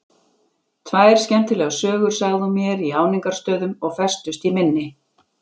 Tvær skemmtilegar sögur sagði hún mér í áningarstöðum og festust í minni.